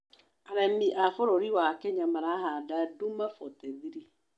Arĩmi a bũrũri wa Kenya marahanda Duma 43